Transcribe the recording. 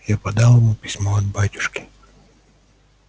я подал ему письмо от батюшки